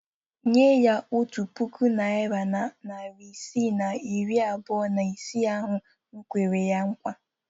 Nye ya otu puku naịra na narị isii na iri abụọ na ise ahụ m kwere ya nkwa.